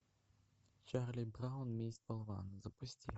чарли браун месть болвана запусти